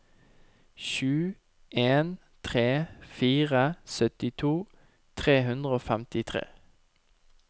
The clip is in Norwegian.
sju en tre fire syttito tre hundre og femtitre